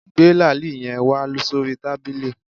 Gbé làálì yen wá sórí tábìlì